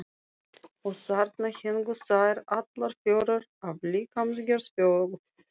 Og þarna héngu þær, allar fjórar af líkamsgerð fjögur.